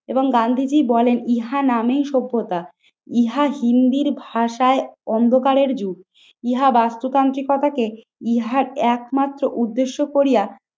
এবং গান্ধীজি বলেন ইহা নামেই সভ্যতা, ইহা হিন্দির ভাষায় অন্ধকারের যুগ। ইহা বাস্তুতান্ত্রিকতাকে ইহার একমাত্র উদ্দেশ্য করিয়া